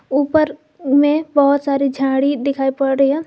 ऊपर में बहोत सारी झाड़ी दिखाई पड़ रही है।